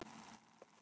Elsku Didda.